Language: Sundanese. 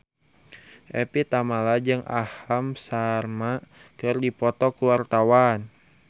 Evie Tamala jeung Aham Sharma keur dipoto ku wartawan